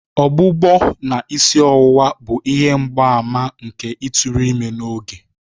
Ọgbụgbọ na isi ọwụwa bụ ihe mgbaàmà nke ịtụrụ ime n'oge.